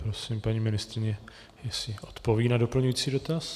Prosím, paní ministryně, jestli odpoví na doplňující dotaz.